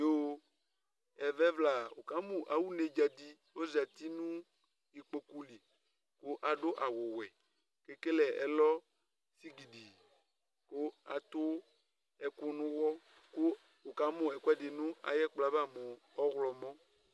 Ƴoo, ɛmɛ ɛvʋla, wʋ ƙa mʋ awʋ neɖzǝ ɖɩ ozati nʋ iƙpoƙu li ta ɖʋ awʋ wɛ; t 'eƙele ɛlɔ sigiɖiiAɖʋ ɛƙʋ nʋ ʋwɔ, ƙʋ wʋ ƙa mʋ ɛƙʋɛɖɩ nʋ aƴʋ ɛƙplɔ ƴɛ ava mʋ ɔwlɔmɔ